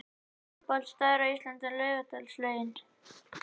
Uppáhalds staður á Íslandi: Laugardalslaugin